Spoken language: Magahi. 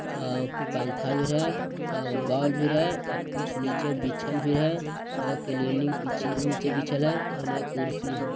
आ पंखा भी रहे अ बॉल भी रहे और कुछ नीचे बिछल भी है और क्लीनिंग क्लीनिंग पिच बीछल है अउर उने कुर्सी है।